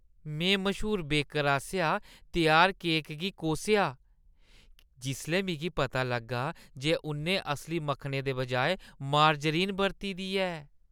में मश्हूर बेकर आसेआ त्यार केक गी कोसेआ जिसलै मिगी पता लग्गा जे उʼन्नै असली मक्खनै दे बजाए मार्जरीन बरती दी ऐ।